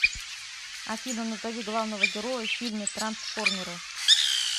афина назови главного героя в фильме трансформеры